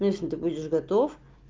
если ты будешь готов